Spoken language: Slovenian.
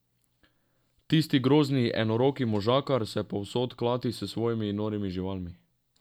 Tisti grozni enoroki možakar se povsod klati s svojimi norimi živalmi.